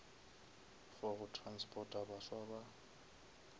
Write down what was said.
for go transporta baswa ba